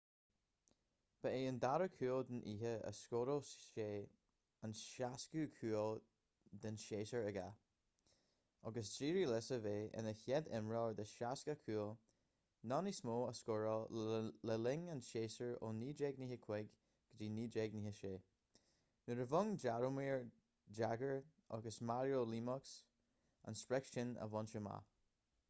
ba é an dara cúl den oíche a scóráil sé an 60ú cúl den séasúr aige agus d'éirigh leis a bheith ina chéad imreoir le 60 cúl nó níos mó a scóráil le linn an tséasúir ó 1995-96 nuair a bhain jaromir jagr agus mario lemieux an sprioc sin a bhaint amach